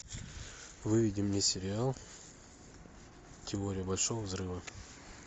выведи мне сериал теория большого взрыва